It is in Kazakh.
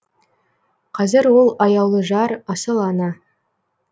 қазір ол аяулы жар асыл ана